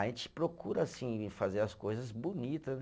A gente procura assim, fazer as coisas bonita né